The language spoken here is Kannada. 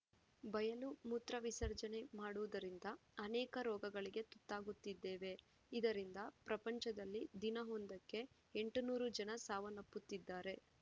ಬಯಲು ಮೂತ್ರ ವಿಸರ್ಜನೆ ಮಾಡುವುದರಿಂದ ಅನೇಕ ರೋಗಗಳಿಗೆ ತುತ್ತಾಗುತ್ತಿದ್ದೇವೆ ಇದರಿಂದ ಪ್ರಪಂಚದಲ್ಲಿ ದಿನವೊಂದಕ್ಕೆ ಎಂಟುನೂರು ಜನ ಸಾವನ್ನಪ್ಪುತ್ತಿದ್ದಾರೆ